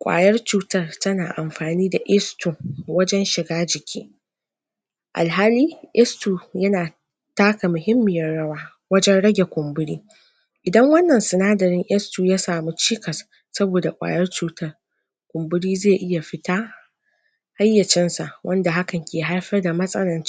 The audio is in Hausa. kwayar cutan tana amfani da wajen shiga jiki. Alhali, yana taka muhimmiyar rawa wajen rage kumburi Idan wannan sunadari s two ya sami cikas saboda kwayar cutar kumburi ze iya fita har ya wanda hakan ke haifar da matsalan